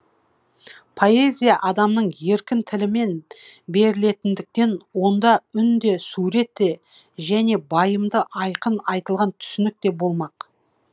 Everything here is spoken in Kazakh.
поэзия адамның еркін тілімен берілетіндіктен онда үн де сурет те және байымды айқын айтылған түсінік те болмақ